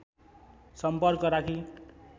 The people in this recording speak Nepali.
सम्पर्क राखी